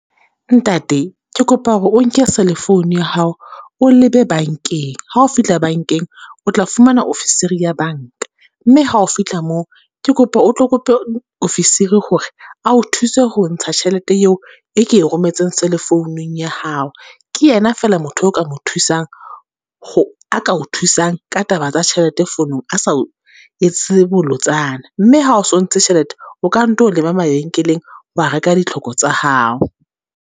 Ntate ke kopa hore o nke cell-e founu ya hao o lebe bankeng, ha o fihla bankeng o tla fumana ofisiri ya banka. Mme ha o fihla moo, ke kopa o tlo kope ofisiri hore a o thuse ho ntsha tjhelete eo e ke rometseng cell-e founung ya hao. Ke yena fela motho o ka mo thusang, a ka o thusang ka taba tsa tjhelete founong, a sa etse bolotsana. Mme ha o sontso tjhelete, o ka nto leba mabenkeleng wa reka ditlhoko tsa hao.